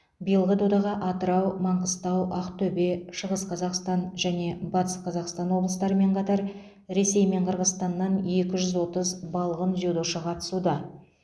биылғы додаға атырау маңғыстау ақтөбе шығыс қазақстан және батыс қазақстан облыстарымен қатар ресей мен қырғызстаннан екі жүз отыз балғын дзюдошы қатысуда